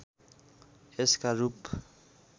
यसका रूप